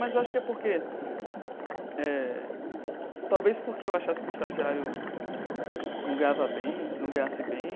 Mas eu acho que é porque eh... Talvez porque eu achasse que o estagiário não ganhava bem, não ganhasse bem.